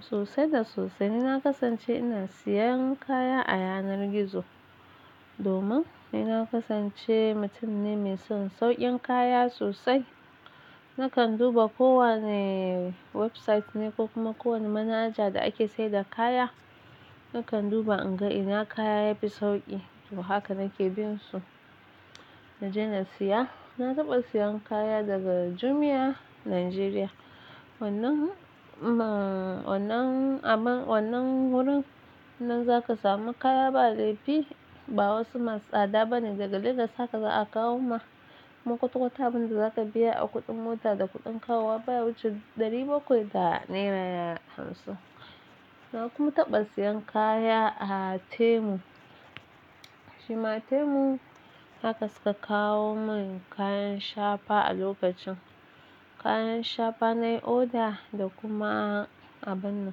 Sosai da sosai. Ni na kasance ina siyan kaya a yanar gizo domin ni na kasance mutum ne mai son saukin kaya sosai. Nakan duba kowane website ne ko kuma kowane manaja da ake saida kaya, nakan duba in ga ina kaya yafi sauƙi. To haka nake bin su, naje na siya. Na taɓa siyan kaya daga Jumia Nigeria. Wannan, amma wannan wurin nan zaka samu kaya, ba laifi ba wasu masu tsada bane daga Lagos haka za a kawo ma. Kuma ƙutukwata abin da zaka biya a kuɗin mota da kuɗin kawowa baya wuce ɗari bakwai da naira hamsin. Na kuma taɓa siyan kaya a Temu. Shi ma Temu haka suka kawo mun kayan shafa a lokacin. Kayan shafa na yi order da kuma abun,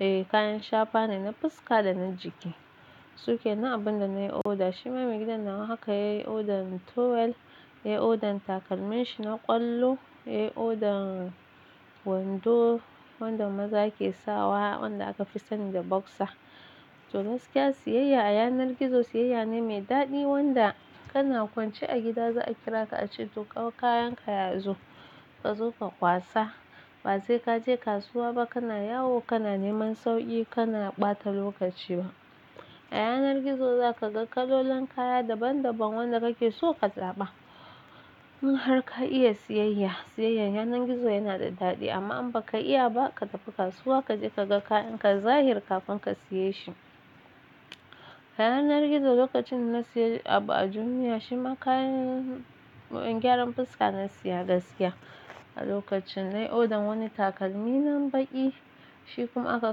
eh, kayan shafa ne na fuska da na jiki. Su ke abun da na yi order. Shi ma mai gidana haka ya yi odan towel, ya yi odan takalman shi na ƙwallo, ya yi odan wando, wanda maza ke sawa wanda aka fi sani da boxer. To gaskiya, siyayya a yanar gizo siyayya ne mai daɗi wanda kana kwance a gida za a kira ka a ce "to kawo kayan ka yazo, ka zo ka kwasa". Ba sai ka je kasuwa ba kana yawo, kana neman sauƙi, kana ɓata lokaci ba. A yanar gizo za ka ga kalolin kaya daban daban wanda kake so ka tsaba. Mun har ka iya siyayya. Siyayyar yanar gizo yana da daɗi amma in ba ka iya ba, ka tafi kasuwa kaje ka ga kayan ka zahiri kafin ka siye shi. A yanar gizo lokacin da na siya abu a Jumia, shi ma kayan gyaran fuska na siya gaskiya. A lokacin na yi order wani takalmi nan baƙi. Shi kuma aka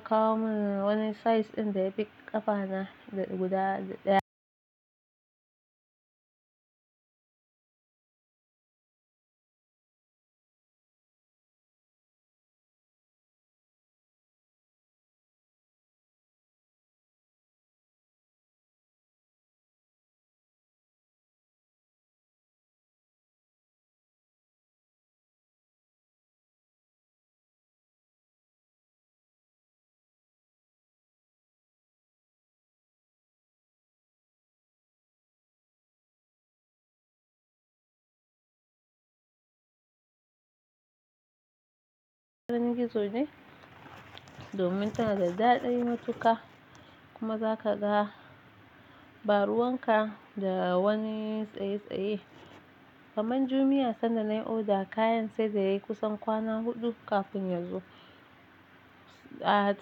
kawo mun wani size ɗin da ya fi ƙafa na guda daya. Gizo ne domin tana da daɗin matuka kuma za ka ga baruwan ka da wani tsaye tsaye. Kaman Jumia sanda na yi oda kayan sai da yayi kusan kwana huɗu kafin ya zo. A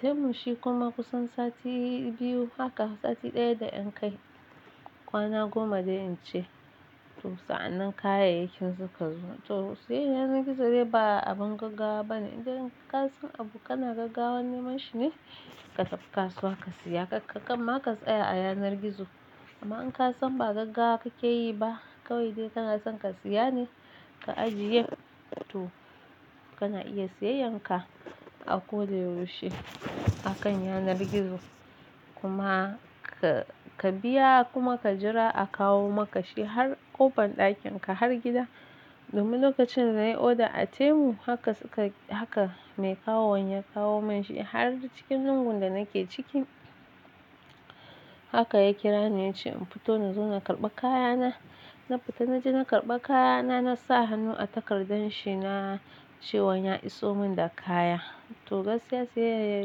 Temu shi kuma kusan sati biyu. Haka sati ɗaya da en kai kwana goma da en ce. To, sa'annan kayayyakin suka zo. To, siyayyar yanar gizo dai ba abin gaggawa bane idan in kasai an abu kana gaggawa neman shi ne ka tafi kasuwa ka siya. Kakkakƙan ma ka tsaya a yanar gizo. Amma in ka san ba gaggawa kake yi ba, kawai dai kana son ka siya ne ka ajiye, to kana iya siyayyar ka a koyaushe akan yanar gizo. Kuma ka, ka biya kuma ka jira a kawo maka shi har ƙofar ɗakin ka, har gida. Domin lokacin da na yi oda a Temu, haka suka, haka mai kawowar ya kawo mun shi har cikin jungul da nake ciki. Haka ya kira ni ya ce in fito na zo na karɓa kayana. Na fita na je na karɓa kayana. Na sa hannu a takardar shi na cewa ya iso mun da kaya. To gaskiya siyayya a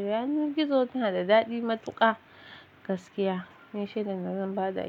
yanar gizo tana da daɗi matuka gaskiya. Ni shaida da zan ba da.